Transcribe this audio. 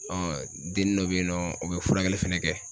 den dɔ be yen nɔ o be furakɛli fɛnɛ kɛ.